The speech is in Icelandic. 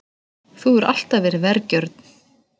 Þú hefur alltaf verið vergjörn.